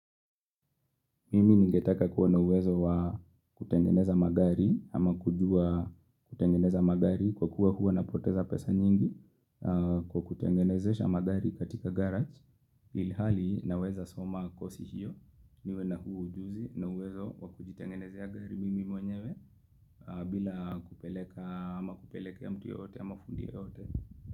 Mimi ningetaka kuwa na uwezo wa kutengeneza magari ama kujua kutengeneza magari kwa kuwa huwa napoteza pesa nyingi kwa kutengenezesha magari katika garage. Ilhali naweza soma kosi hiyo niwe na huu ujuzi na uwezo wa kutengenezea gari mimi mwenyewe bila kupeleka ama kupelekea mtu yote ama fundi yoyote.